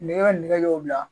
Ne ka nɛgɛ y'o bila